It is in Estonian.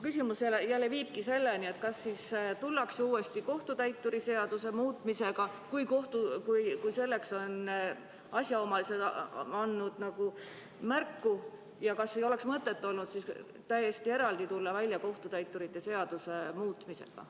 Küsimus viibki selleni, et kas siia tullakse uuesti kohtutäituri seaduse muutmisega, kui selleks on asjaomased andnud märku, ja kas ei oleks olnud mõtet tulla välja täiesti eraldi kohtutäiturite seaduse muutmisega.